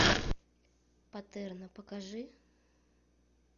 патерно покажи